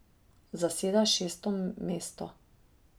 Zaseda šesto mesto.